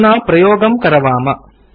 अधुना प्रयोगं करवाम